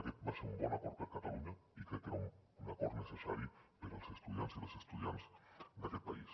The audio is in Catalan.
aquest va ser un bon acord per a catalunya i crec que era un acord necessari per als estudiants i les estudiants d’aquest país